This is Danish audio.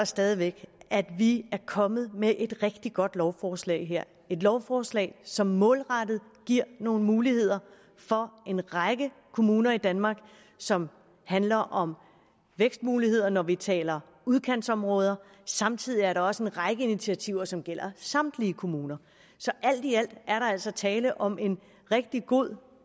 stadig væk at vi er kommet med et rigtig godt lovforslag her et lovforslag som målrettet giver nogle muligheder for en række kommuner i danmark og som handler om vækstmuligheder når vi taler udkantsområder samtidig er der også en række initiativer som gælder samtlige kommuner så alt i alt er der altså tale om en rigtig god